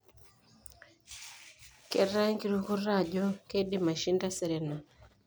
Ketaa enkirukoto ajo keidim aishinda Serena.